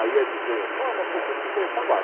Aí ia dizer,